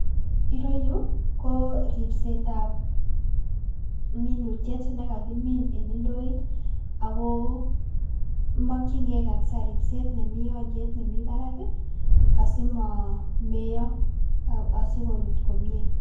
Ireyuu koribsetab minutiet nekakimin en indoit akoo mokying'e ribset nemii oliet nemii barak asimomeyo asikorut komie.